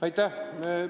Aitäh!